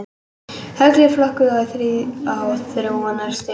Högl eru flokkuð í þrjú þróunarstig.